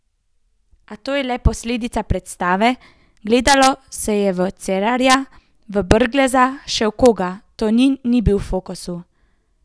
A to je le posledica predstave, gledalo se je v Cerarja, v Brgleza, še v koga, Tonin ni bil v fokusu.